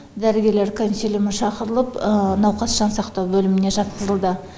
дәрігерлер консилиумы шақырылып науқас жансақтау бөліміне жатқызылды